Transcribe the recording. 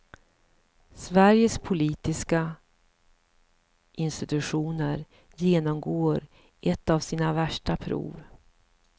Sveriges politiska institutioner genomgår ett av sina värsta prov.